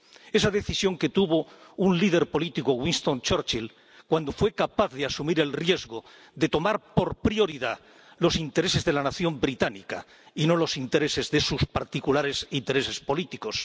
Esa decisión que tuvo un líder político, Winston Churchill, cuando fue capaz de asumir el riesgo de tomar como prioridad los intereses de la nación británica y no los intereses de sus particulares intereses políticos.